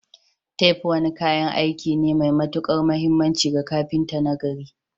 Tef wani kayan aiki ne mai matuƙar mahimmanci ga kafinta nagari.